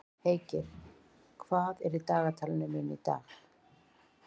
Heikir, hvað er í dagatalinu mínu í dag?